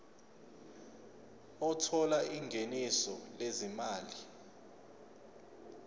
othola ingeniso lezimali